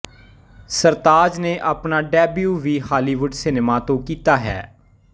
ਸਰਤਾਜ਼ ਨੇ ਆਪਣਾ ਡੈਬਿਊ ਵੀ ਹਾਲੀਵੁੱਡ ਸਿਨੇਮਾ ਤੋਂ ਕੀਤਾ ਹੈ